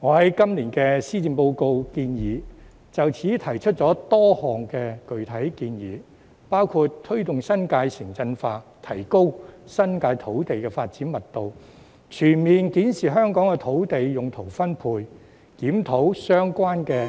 我在今年的施政報告建議書中就此提出多項具體建議，包括：推動新界"城鎮化"，提高新界土地的發展密度；全面檢視香港的土地用途分配；檢討相關的